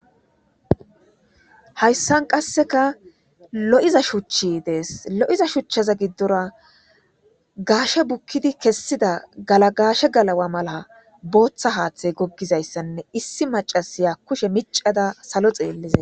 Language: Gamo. hayssan qasseka lo7iza shuchi dees lo7iza shuchchaza giddora gaashe bukkidi kessida galagaashe galawa mala booththa haaththey goggizayssanne issi macasiya kushe micada salo xeelliza